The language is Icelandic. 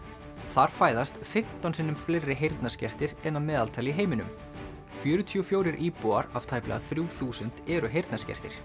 þar fæðast fimmtán sinnum fleiri heyrnarskertir en að meðaltali í heiminum fjörutíu og fjórir íbúar af tæplega þrjú þúsund eru heyrnarskertir